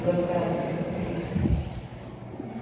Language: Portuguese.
Duas casas, exatamente.